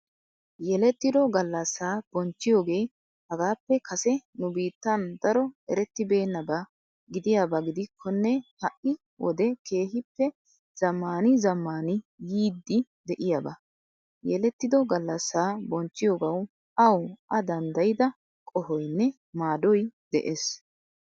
Yelettido gallasa bonchchiyogee hagappe kase nu bittan daro erettibenaba gidiyabagidikkone ha''i wide kehippe zammani zammani yiiddi de'iyaba. Yelttido gallassa bonchchiyogawu awu a dandayda qohoynne maadoy de's.